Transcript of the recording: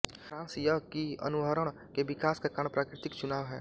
सारांश यह कि अनुहरण के विकास का कारण प्राकृतिक चुनाव है